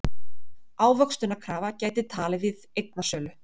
Ávöxtunarkrafa gæti tafið eignasölu